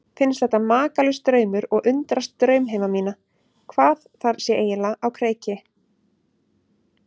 Finnst þetta makalaus draumur og undrast draumheima mína, hvað þar sé eiginlega á kreiki.